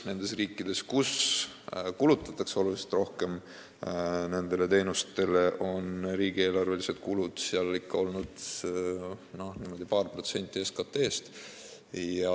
Nendes riikides, kus nendele teenustele kulutatakse oluliselt rohkem, on riigieelarvelised kulutused olnud ikka paar protsenti SKT-st.